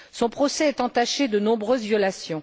Son procès est entaché de nombreuses violations.